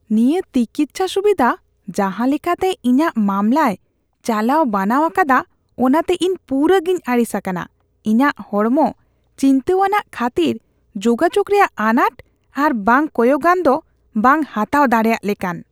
ᱱᱤᱭᱟᱹ ᱴᱤᱠᱤᱪᱪᱷᱟ ᱥᱩᱵᱤᱫᱷᱟ ᱡᱟᱦᱟ ᱞᱮᱠᱟᱛᱮ ᱤᱧᱟᱜ ᱢᱟᱢᱞᱟᱭ ᱪᱟᱞᱟᱣ ᱵᱟᱱᱟᱣ ᱟᱠᱟᱫᱟ ᱚᱱᱟᱛᱮ ᱤᱧ ᱯᱩᱨᱟᱹ ᱜᱮᱧ ᱟᱹᱲᱤᱥ ᱟᱠᱟᱱᱟ ᱾ ᱤᱧᱟᱜ ᱦᱚᱲᱢᱚ ᱪᱤᱱᱛᱟᱹᱣᱟᱱᱟᱜ ᱠᱷᱟᱹᱛᱤᱨ ᱡᱳᱜᱟᱡᱳᱜ ᱨᱮᱭᱟᱜ ᱟᱱᱟᱴ ᱟᱨ ᱵᱟᱝ ᱠᱚᱭᱚᱜᱟᱹᱧ ᱫᱚ ᱵᱟᱝ ᱦᱟᱛᱟᱣ ᱫᱟᱲᱮᱭᱟᱜ ᱞᱮᱠᱟᱱ ᱾